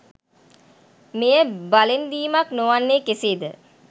මෙය බලෙන් දීමක් නොවන්නේ කෙසේද?